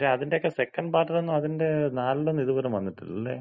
പക്ഷെ അതിന്‍റെക്ക സെക്കന്‍റ് പാർട്ടില് ഒന്നും അതിന്‍റ നാലിലൊന്ന് ഇത് പോലും വന്നിട്ടില്ല അല്ലേ?